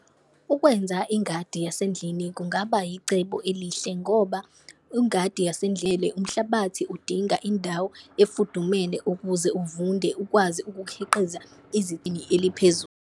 Ukwenza ingadi yasendlini kungaba yicebo elihle ngoba ingadi yasendlele umhlabathi udinga indawo efudumele ukuze uvunde ukwazi ukukhiqiza eliphezulu.